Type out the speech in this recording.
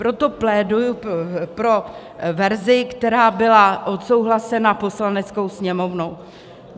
Proto pléduji pro verzi, která byla odsouhlasena Poslaneckou sněmovnou.